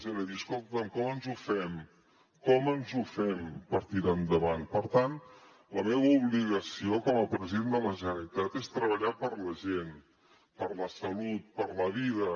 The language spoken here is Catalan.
era dir escolta com ens ho fem com ens ho fem per tirar endavant per tant la meva obligació com a president de la generalitat és treballar per la gent per la salut per la vida